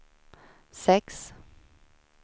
sex